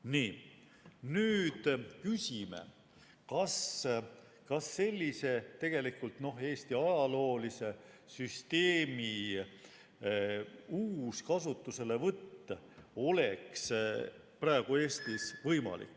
Nii, nüüd küsime, kas sellise, tegelikult Eesti ajaloolise süsteemi uus kasutuselevõtt oleks praegu Eestis võimalik.